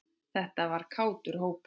Þetta var kátur hópur.